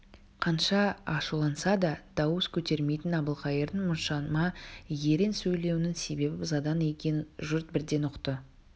қанша ашуланса да дауыс көтермейтін әбілқайырдың мұншама ерен сөйлеуінің себебі ызадан екенін жұрт бірден ұқты